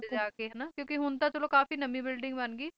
ਜਾ ਕੇ ਕਿਉਂਕਿ ਹੁਣ ਤਾਂ ਚਲੋ ਕਾਫੀ ਨਵੀਂ ਬਿਲਡਿੰਗ ਬਣ ਗਈ